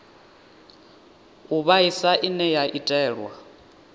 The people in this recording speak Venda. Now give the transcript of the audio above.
u vhaisa ine ya itelwa